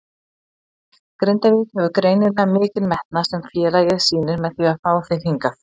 Grindavík hefur greinilega mikinn metnað sem félagið sýnir með því að fá þig hingað?